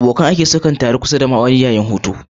Abokan aiki sukan taru a kusa da ma'aunin ruwan ofis yayin hutu